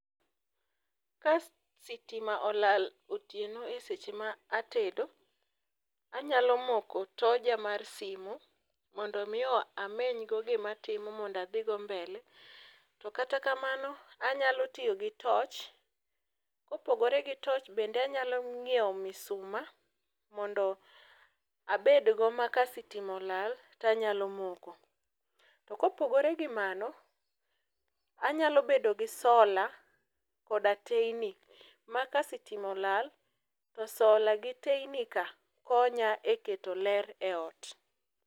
ka sitima ola eseche ma otieno e seche ma atedo ,anyalo moko toja mar simu mondo mi amenygo gima atimo mondo adhi go mbele to kata kamano anyalo tiyo gi toch kopogore gi toch bende anyalo nyiewo misuma mondo abed go maka sitima olal to anyalo moko to kopogore gi mago anyalo bedo gi sola koda teini maka sitima olal to sola gi teini kas konya e keto ler ei ot.